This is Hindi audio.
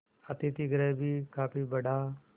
अतिथिगृह भी काफी बड़ा